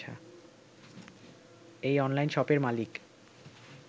এই অনলাইন শপের মালিক